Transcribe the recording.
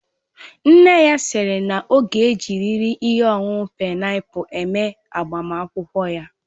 Nne ya siri na ọ ga ejiriri ihe ọṅụṅụ paịnapul eme agbamakwụkwọ ya